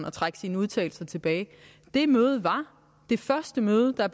at trække sine udtalelser tilbage det møde er det første møde der